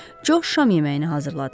Co şam yeməyini hazırladı.